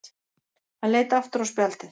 Hann leit aftur á spjaldið.